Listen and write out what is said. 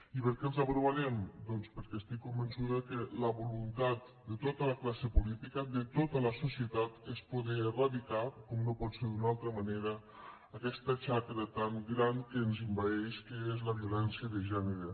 i per què els aprovarem doncs perquè estic convençuda que la voluntat de tota la classe política de tota la societat és poder eradicar com no pot ser d’una altra manera aquesta xacra tan gran que ens envaeix que és la violència de gènere